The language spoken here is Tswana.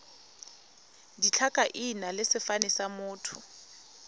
ditlhakaina le sefane sa motho